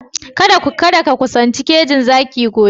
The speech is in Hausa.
Kadda ka kusanci kejin zaki gobe!